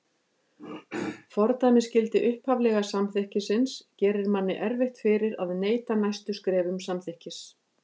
Fordæmisgildi upphaflega samþykkisins gerir manni erfitt fyrir að neita næstu skrefum samþykkis.